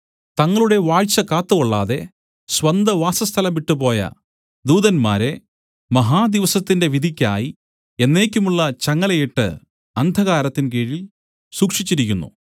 തങ്ങളുടെ വാഴ്ച കാത്തുകൊള്ളാതെ സ്വന്തവാസസ്ഥലം വിട്ടുപോയ ദൂതന്മാരെ മഹാദിവസത്തിന്റെ വിധിക്കായി എന്നേക്കുമുള്ള ചങ്ങലയിട്ട് അന്ധകാരത്തിൻ കീഴിൽ സൂക്ഷിച്ചിരിക്കുന്നു